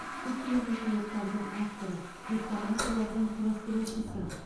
көптеген оқулықтардың авторы хрестоматиялардың құрастырушысы